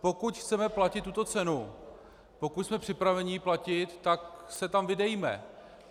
Pokud chceme platit tuto cenu, pokud jsme připraveni ji platit, tak se tam vydejme.